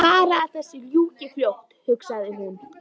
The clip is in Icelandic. Bara að þessu ljúki fljótt hugsaði hún.